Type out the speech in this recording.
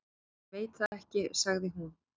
Ég veit það ekki, sagði hún.